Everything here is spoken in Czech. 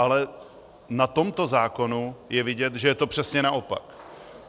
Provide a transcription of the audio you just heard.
Ale na tomto zákonu je vidět, že je to přesně naopak.